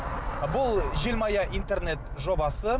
бұл желмая интернет жобасы